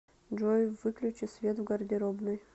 джой выключи свет в гардеробной